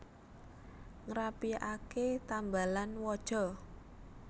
Ngrapiake tambalan waja